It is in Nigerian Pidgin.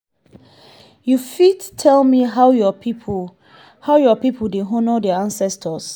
you fit tell me how your people how your people dey honour their ancestors?